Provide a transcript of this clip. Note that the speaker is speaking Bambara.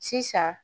Sisan